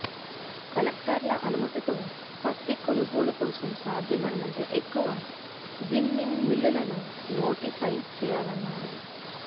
కలెక్టర్ల అనుమతితో పత్తి కొనగోలుకోసం సాధ్యమైనంత ఎక్కువ జిన్నింగ్ మిల్లులను నోటిఫై చేయాలన్నారు